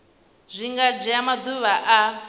zwi nga dzhia maḓuvha a